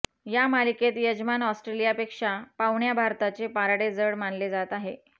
या मालिकेत यजमान ऑस्ट्रेलियापेक्षा पाहुण्या भारताचे पारडे जड मानले जात आहे